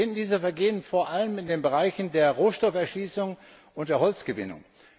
Wir finden diese Vergehen vor allem in den Bereichen Rohstofferschließung und Holzgewinnung.